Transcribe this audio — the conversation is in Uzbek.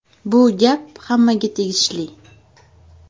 Bu gap hammaga tegishli.